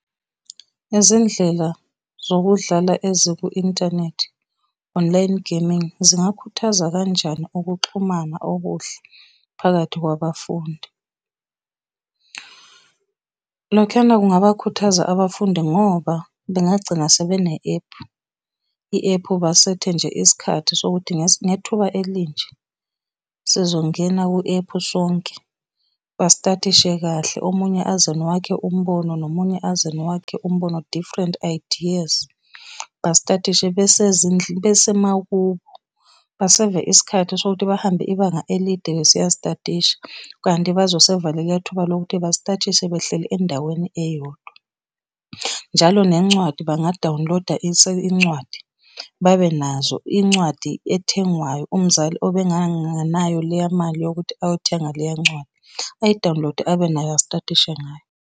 Izindlela zokudlala eziku-inthanethi, online gaming, zingakhuthaza kanjani ukuxhumana okuhle phakathi kwabafundi? Lokhuyana kungabakhuthaza abafundi ngoba bengagcina sebene-ephu, i-ephu basethe nje isikhathi sokuthi ngethuba elinje, sizongena kwi-ephu sonke. Basitathishe kahle omunye aze nowakhe umbono, nomunye aze nowakhe umbono, different ideas, basitathishe besemakubo, baseva isikhathi sokuthi bahambe ibanga elide bese eyastathisha kanti bazoseva leliya thuba lokuthi basitathishe behleli endaweni eyodwa. Njalo nencwadi bangadawuniloda incwadi, babenazo incwadi ethengwayo umzali obenganganayo leya mali yokuthi ayothenga leya ncwadi, ayidawunilode astadishe ngayo.